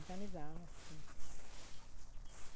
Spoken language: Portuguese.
Organizavam, sim.